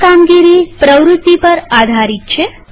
આ કામગીરી પ્રવૃત્તિ પર આધારિત છે